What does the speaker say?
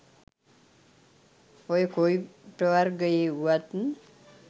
ඔය කොයි ප්‍රවර්ගයේ වුවත්